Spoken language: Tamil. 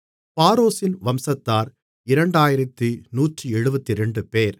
பாரோஷின் வம்சத்தார் 2172 பேர்